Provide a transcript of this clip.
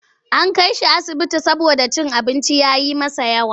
An kai shi asibiti saboda cin abinci ya yi masa yawa.